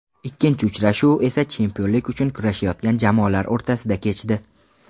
Ikkinchi uchrashuv esa chempionlik uchun kurashayotgan jamoalar o‘rtasida kechdi.